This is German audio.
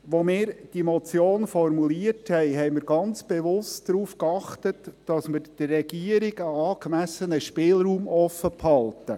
Als wir diese Motion formulierten, achteten wir ganz bewusst darauf, dass wir der Regierung einen angemessenen Spielraum offenhalten.